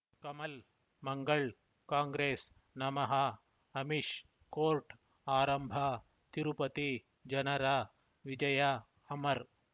ಕಮಲ್ ಮಂಗಳ್ ಕಾಂಗ್ರೆಸ್ ನಮಃ ಅಮಿಷ್ ಕೋರ್ಟ್ ಆರಂಭ ತಿರುಪತಿ ಜನರ ವಿಜಯ ಅಮರ್